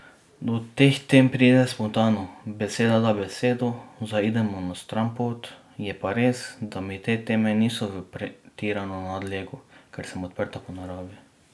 Do teh tem pride spontano, beseda da besedo, zaidemo na stranpot, je pa res, da mi te teme niso v pretirano nadlego, ker sem odprta po naravi.